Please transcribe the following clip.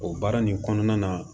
O baara nin kɔnɔna na